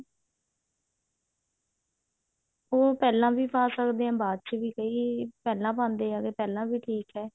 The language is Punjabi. ਉਹ ਪਹਿਲਾਂ ਵੀ ਪਾ ਸਕਦੇ ਹਾਂ ਬਾਅਦ ਚ ਵੀ ਕਈ ਪਹਿਲਾਂ ਪਾਉਂਦੇ ਹੈਗੇ ਪਹਿਲਾਂ ਵੀ ਠੀਕ ਹੈ